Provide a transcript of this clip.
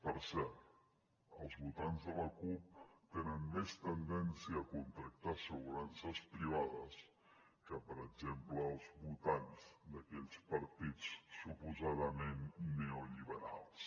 per cert els votants de la cup tenen més tendència a contractar assegurances privades que per exemple els votants d’aquells partits suposadament neolliberals